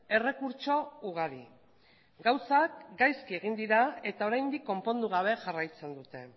errekurtso ugari gauzak gaizki egin dira eta oraindik konpondu gabe jarraitzen dute